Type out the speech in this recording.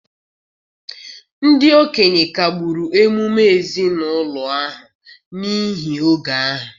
ndị okenye kagburu emume ezinụlọ ahụ n’ihi oge ahụ.